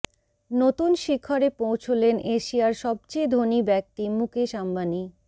নতুন শিখরে পৌঁছলেন এশিয়ার সবচেয়ে ধনী ব্যক্তি মুকেশ আম্বানি